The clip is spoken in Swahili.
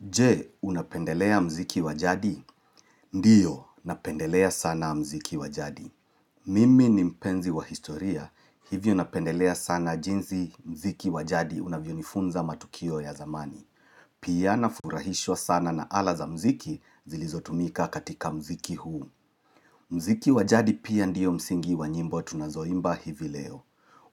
Je, unapendelea muziki wa jadi? Ndiyo, napendelea sana mziki wajadi. Mimi ni mpenzi wa historia, hivyo napendelea sana jinsi muziki wa jadi unavyonifunza matukio ya zamani. Pia nafurahishwa sana na ala za mziki zilizotumika katika mziki huu. Muziki wa jadi pia ndiyo msingi wa nyimbo tunazoimba hivi leo.